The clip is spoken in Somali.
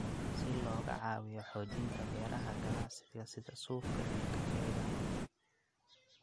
Si looga caawiyo xoojinta beeraha ganacsiga sida suufka iyo kafeega.